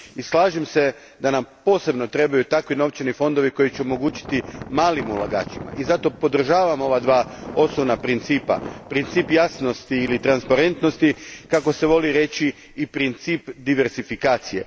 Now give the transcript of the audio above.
I slažem se da nam posebno trebaju takvi novčani fondovi koji će omogućiti malim ulagačima i zato podržavam ova dva osnovna principa, princip jasnosti ili transparentnosti, kako se voli reći i princip diversifikacije.